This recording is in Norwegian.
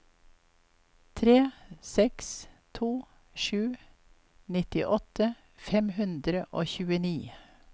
tre seks to sju nittiåtte fem hundre og tjueni